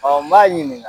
n b'a ɲininga